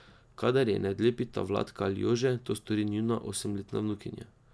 Kadar je ne odlepita Vladka ali Jože, to stori njuna osemletna vnukinja.